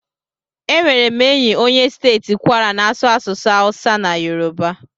Enwere m enyi onye steeti Kwara na-asụ asụsụ Hausa na Yoruba.